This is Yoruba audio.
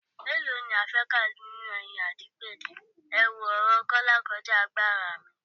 Mélòó ni a fẹ́ kà nínú eyín Adípèlé, èwo, ọ̀rọ̀ Kọ́lá kọjá agbára mi